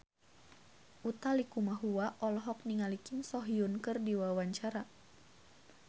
Utha Likumahua olohok ningali Kim So Hyun keur diwawancara